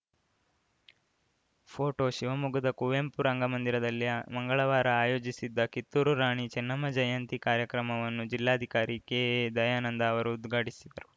photo ಶಿವಮೊಗ್ಗದ ಕುವೆಂಪು ರಂಗಮಂದಿರದಲ್ಲಿ ಮಂಗಳವಾರ ಆಯೋಜಿಸಿದ್ದ ಕಿತ್ತೂರು ರಾಣಿ ಚೆನ್ನಮ್ಮ ಜಯಂತಿ ಕಾರ್ಯಕ್ರಮವನ್ನು ಜಿಲ್ಲಾಧಿಕಾರಿ ಕೆಎದಯಾನಂದ ಅವರು ಉದ್ಘಾಟಿಸಿದರು